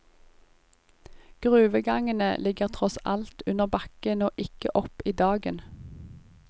Gruvegangene ligger tross alt under bakken og ikke oppe i dagen.